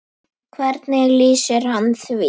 Hvernig lýsir hann því?